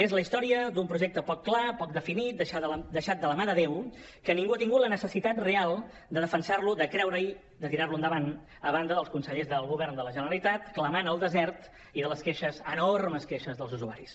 és la història d’un projecte poc clar poc definit deixat de la mà de déu que ningú ha tingut la necessitat real de defensar de creure hi de tirar lo endavant a banda dels consellers del govern de la generalitat clamant al desert i de les queixes enormes queixes dels usuaris